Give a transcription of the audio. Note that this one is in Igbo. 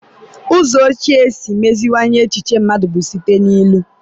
Ụzọ ochie isi meziwanye echiche mmadụ bụ site na ilu